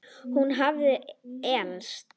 Hún hafði elst.